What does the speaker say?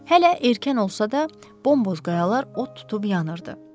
Hələ erkən olsa da, bomboz qayalar od tutub yanırdı.